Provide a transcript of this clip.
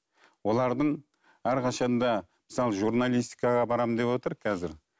олардың әрқашан да мысалы журналистикаға барамын деп отыр қазір